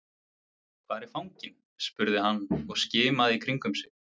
Hvar er fanginn? spurði hann og skimaði í kringum sig.